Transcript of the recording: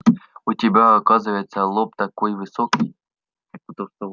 у тебя оказывается лоб такой высокий